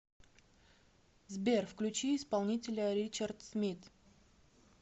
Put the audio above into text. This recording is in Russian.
сбер включи исполнителя ричард смит